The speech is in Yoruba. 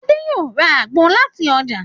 Adé yóò ra àgbo làti ọjà.